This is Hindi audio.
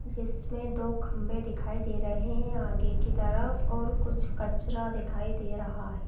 जिसमे दो खंबे दिखाई दे रहे है आगे की तरफ और कुछ कचरा दिखाई दे रहा है।